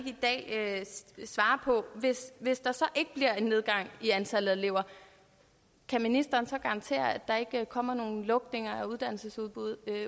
i dag hvis der ikke bliver en nedgang i antallet af elever kan ministeren så garantere at der ikke kommer nogen lukninger af uddannelsesudbud